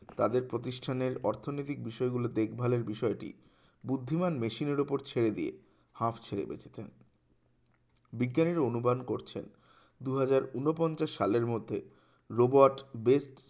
তাদের প্রতিষ্ঠানের অর্থনৈতিক বিষয়গুলি দেখভালের বিষয়টি বুদ্ধিমান মেশিনের উপর ছেড়ে দিয়ে হাপ্ ছেড়ে বেঁচেছেন বিজ্ঞানীরা অনুমান করছেন দুহাজার ঊনপঞ্চাশ সালের মধ্যে robot বেশ